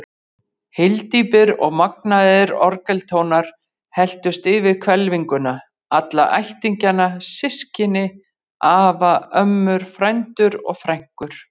Hyldjúpir og magnaðir orgeltónar helltust yfir hvelfinguna, alla ættingjana, systkini, afa, ömmur, frændur og frænkur.